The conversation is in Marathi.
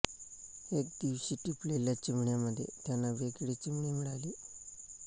एके दिवशी टिपलेल्या चिमण्यांमध्ये त्यांना वेगळी चिमणी मिळाली